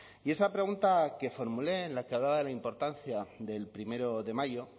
y esa pregunta que formulé en la que hablaba de la importancia del primero de mayo